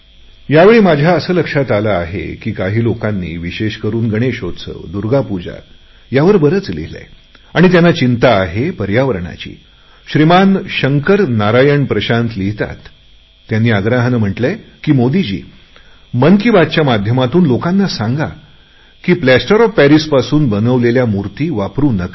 यावेळी माझ्या असे लक्षात आले आहे की काही लोकांनी विशेष करुन गणेशोत्सव दूर्गापूजा यावर बरेच लिहिलेय आणि त्यांना चिंता आहे पर्यावरणाची शंकर नारायण प्रशांत लिहितातत्यांनी आग्रहाने म्हटलेय की मोदी जी मन की बातच्या माध्यमातून लोकांना सांगा की प्लॅस्टर ऑफ पॅरिसने बनवलेल्या मूर्ति वापरु नका